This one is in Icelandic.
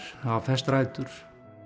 hafa fest rætur